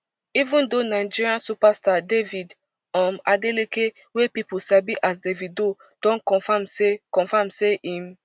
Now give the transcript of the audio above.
even though nigerian superstar david um adeleke wey pipo sabi as davido don confam say confam say im